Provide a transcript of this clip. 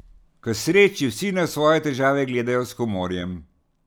K sreči vsi na svoje težave gledajo s humorjem.